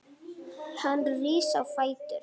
Hann rís á fætur.